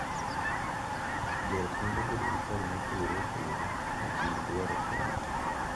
Jo ot nyalo bedo gi paro mopogore opogore e kind dwaro konyo